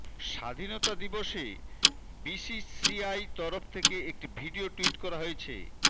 স্বাধীনতা দিবসে বিসিসিআই তরফ থেকে একটি ভিডিও টুইট করা হয়েছে